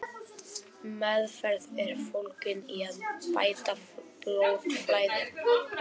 Meðferð er fólgin í að bæta blóðflæði.